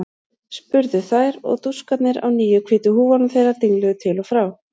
spurðu þær og dúskarnir á nýju hvítu húfunum þeirra dingluðu til og frá.